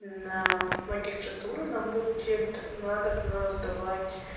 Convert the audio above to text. на магистратуру нам будет надобно сдавать